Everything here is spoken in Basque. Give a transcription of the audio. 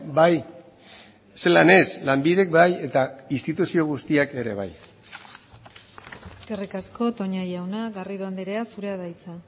bai zelan ez lanbidek bai eta instituzio guztiak ere bai eskerrik asko toña jauna garrido andrea zurea da hitza